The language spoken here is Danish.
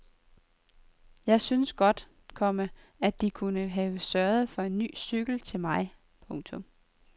Jeg synes godt, komma at de kunne have sørget for en ny cykel til mig. punktum